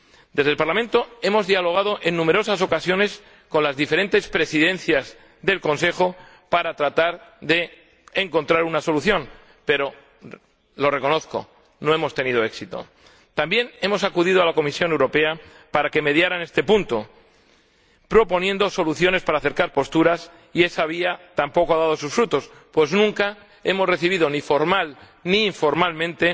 En el Parlamento hemos dialogado en numerosas ocasiones con las diferentes Presidencias del Consejo para tratar de encontrar una solución, pero, lo reconozco, no hemos tenido éxito. También hemos acudido a la Comisión Europea para que mediara en este punto proponiendo soluciones para acercar posturas, y esa vía tampoco ha dado sus frutos, pues nunca hemos recibido, ni formal, ni informalmente,